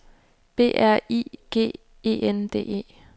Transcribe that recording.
B E R I G E N D E